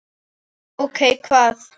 Ókei. hvað?